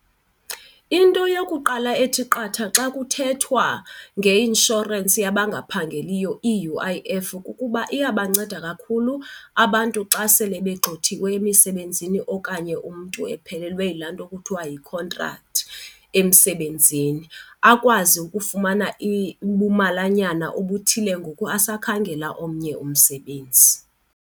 Into yokuqala ethi qatha xa kuthethwa ngeinshorensi yabangaphangeliyo, i-U_I_F, kukuba iyabanceda kakhulu abantu xa sele begxothiwe emisebenzini okanye umntu ephelelwe yilaa nto kuthiwa yikhontrakthi emsebenzini akwazi ukufumana ubumalanyana obuthile ngoku asakhangela omnye umsebenzi.